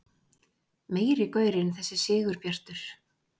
Meiri gaurinn þessi Sigurbjartur!